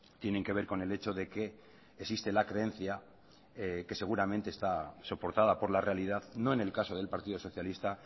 tienen que ver con el hecho de que existe la creencia que seguramente está soportada por la realidad no en el caso del partido socialista